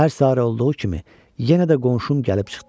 Hər səhər olduğu kimi yenə də qonşum gəlib çıxdı.